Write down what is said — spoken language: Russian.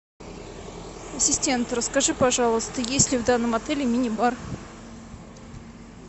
ассистент расскажи пожалуйста есть ли в данном отеле мини бар